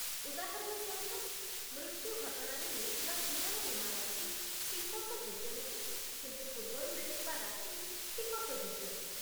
ଉଦାହରଣ ସ୍ୱରୂପ, ମୃତ୍ୟୁ ଘଟଣାରେ ମିଳିଥିବା ଜୀବନ ବୀମା ରାଶି ଟିକସଯୋଗ୍ୟ ନୁହେଁ, କିନ୍ତୁ ପୂର୍ବରୁ ମିଳିଥିବା ରାଶି ଟିକସଯୋଗ୍ୟ।